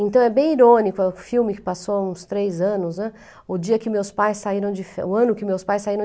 Então é bem irônico, é um filme que passou uns três anos an, o dia que meus pais saíram de, o ano que meus pais saíram